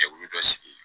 Jɛkulu dɔ sigi